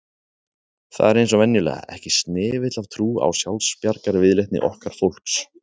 Það er eins og venjulega, ekki snefill af trú á sjálfsbjargarviðleitni okkar fólks